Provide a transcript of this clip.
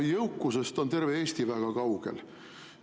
No jõukusest on terve Eesti väga kaugel.